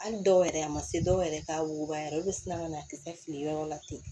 Hali dɔw yɛrɛ a ma se dɔw yɛrɛ ka wuguba yɛrɛ olu bɛ siran ka na a tɛ kɛ fili ye yɔrɔ la ten